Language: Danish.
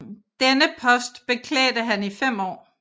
Denne post beklædte han i fem år